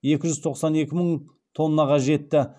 екі жүз тоқсан екі мың тоннаға жетті